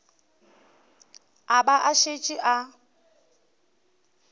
a ba a šetše a